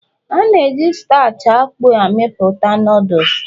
A na-eji starch akpu amepụta Noodles